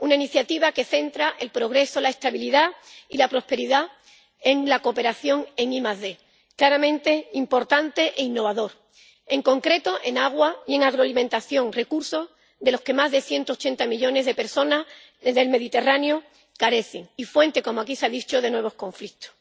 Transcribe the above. Una iniciativa que centra el progreso, la estabilidad y la prosperidad en la cooperación en ID, claramente importante e innovadora, en concreto, en agua y en agroalimentación, recursos de los que más de 180 millones de personas del Mediterráneo carecen, y fuente, como aquí se ha dicho, de nuevos conflictos.